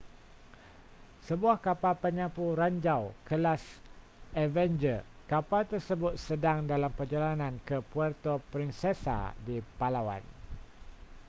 sebuah kapal penyapu ranjau kelas avenger kapal tersebut sedang dalam perjalanan ke puerto princesa di palawan